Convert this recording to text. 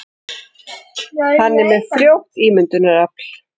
Hann er með frjótt ímyndunarafl.